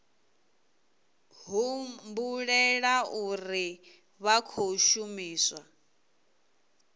humbulela uri vha khou shumisa